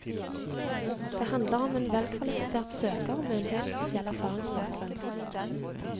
Det handler om en velkvalifisert søker med en helt spesiell erfaringsbakgrunn.